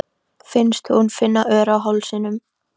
Finnst hún finna ör á hálsinum.